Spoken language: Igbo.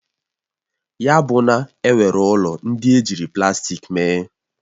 Ya buna enwere ụlọ ndị ejiri plastik mee?